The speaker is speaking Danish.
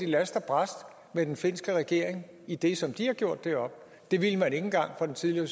last og brast med den finske regering i det som de havde gjort deroppe det ville man ikke engang fra den tidligere